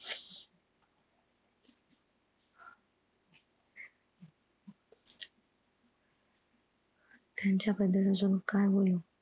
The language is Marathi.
त्यांच्या बदल अजून काय बोलु?